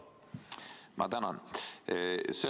Ma tänan!